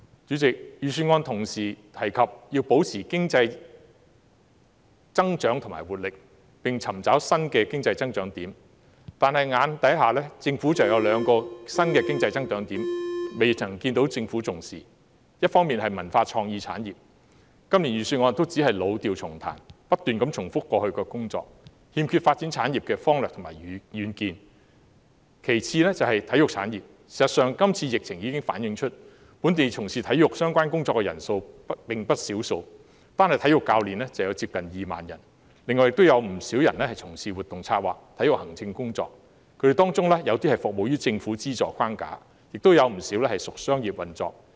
主席，預算案同時提及要保持經濟增長和活力，並要尋找新的經濟增長點，但當前有兩個新經濟增長點未獲政府重視，其一是文化創意產業，今年的預算案只是老調重彈，不斷重複過去的工作，欠缺發展產業的方略和遠見；其二是體育產業，今次疫情已經反映出在本地從事體育相關工作的人數不少，單是體育教練已有接近2萬人，另外還有不少人從事活動策劃及體育行政工作，他們當中有些在政府資助框架下工作，亦有不少屬商業運作。